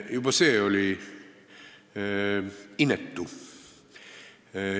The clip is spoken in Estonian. Juba see oli inetu.